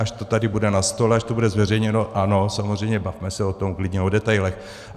Až to tady bude na stole, až to bude zveřejněno, ano, samozřejmě, bavme se o tom, klidně o detailech.